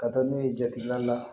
Ka taa n'u ye jateminɛw la